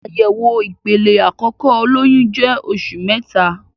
Àyẹ̀wò ìpele àkókò olóyun jẹ oṣù mẹta.